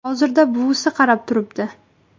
Hozirda buvisi qarab turibdi.